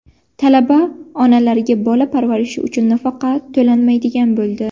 Talaba onalarga bola parvarishi uchun nafaqa to‘lanmaydigan bo‘ldi.